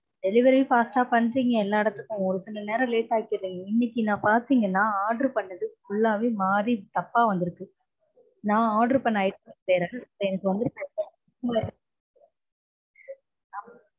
Delivery fast ஆ பண்றீங்க எல்லா இடத்துக்கும் ஒரு சில நேரம் late ஆக்கிடறீங்க. இன்னைக்கு நா பாத்தீங்கனா நா order பண்ணது full லாவே மாறி தப்பா வந்திருக்கு. நா order பண்ண item வேற எனக்கு வந்திருக்கறது